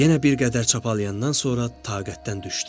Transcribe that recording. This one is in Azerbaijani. Yenə bir qədər çapalayandan sonra taqətdən düşdü.